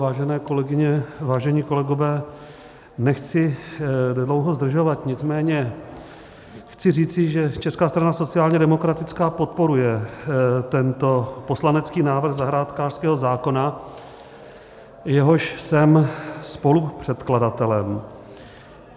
Vážené kolegyně, vážení kolegové, nechci dlouho zdržovat, nicméně chci říci, že Česká strana sociálně demokratická podporuje tento poslanecký návrh zahrádkářského zákona, jehož jsem spolupředkladatelem.